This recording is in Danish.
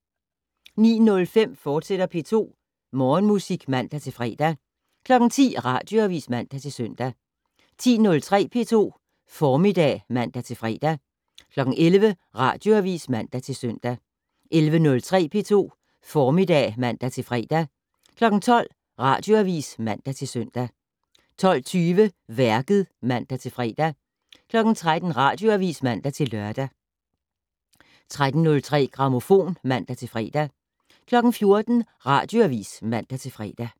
09:05: P2 Morgenmusik, fortsat (man-fre) 10:00: Radioavis (man-søn) 10:03: P2 Formiddag (man-fre) 11:00: Radioavis (man-søn) 11:03: P2 Formiddag (man-fre) 12:00: Radioavis (man-søn) 12:20: Værket (man-fre) 13:00: Radioavis (man-lør) 13:03: Grammofon (man-fre) 14:00: Radioavis (man-fre)